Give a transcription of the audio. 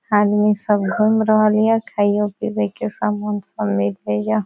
आदमी सब घुम रहल ये खाइयो पिबे के सामान सब मिले ये।